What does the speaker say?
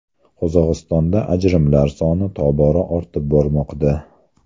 Qozog‘istonda ajrimlar soni tobora ortib bormoqda.